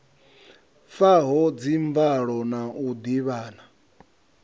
faho dzimvalo na u ḓivhana